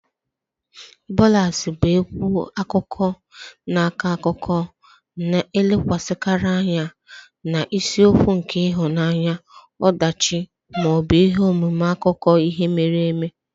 Ballads bụ egwu akụkọ na-akọ akụkọ, na-elekwasịkarị anya na isiokwu nke ịhụnanya, ọdachi, ma ọ bụ ihe omume akụkọ ihe mere eme.